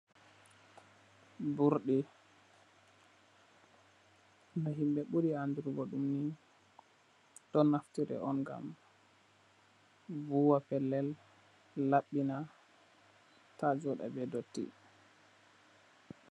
Burɗi, ba himɓe ɓuri andurgo ɗum ni, ɗon naftire on ngam, vuwa pellel, laɓɓina, ta jooɗa be dotti.